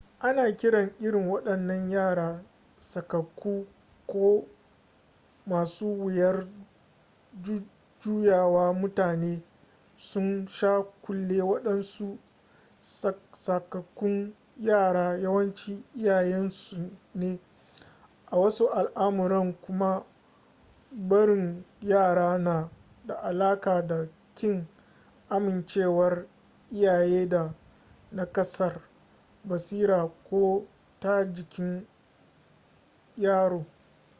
ana kiran irin waɗannan yaran sakakku” ko masu wuyar juyawa. mutane sun sha kulle waɗansu sakakkun yara yawanci iyayensu ne; a wasu al’amuran kuma barin yaran na da alaƙa da ƙin amincewar iyaye da naƙasar basira ko ta jikin yaro